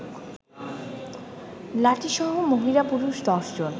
লাঠিসহ মহিলা-পুরুষ ১০ জন